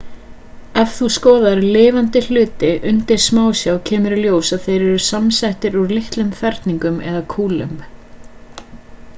ef þú skoðar lifandi hluti undir smásjá kemur í ljós að þeir eru samsettir úr litlum ferningum eða kúlum